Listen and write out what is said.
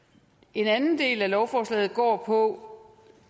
en anden del af lovforslaget går på